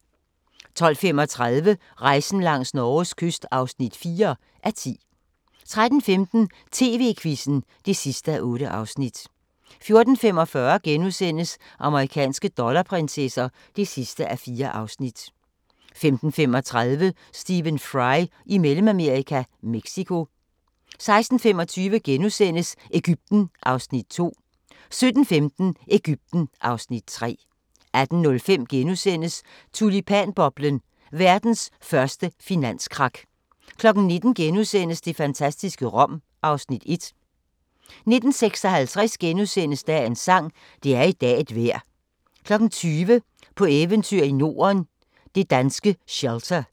12:35: Rejsen langs Norges kyst (4:10) 13:15: TV-Quizzen (8:8) 14:45: Amerikanske dollarprinsesser (4:4)* 15:35: Stephen Fry i Mellemamerika – Mexico 16:25: Egypten (Afs. 2)* 17:15: Egypten (Afs. 3) 18:05: Tulipanboblen – verdens første finanskrak * 19:00: Det fantastiske Rom (Afs. 1)* 19:56: Dagens sang: Det er i dag et vejr * 20:00: På eventyr i Norden – det danske shelter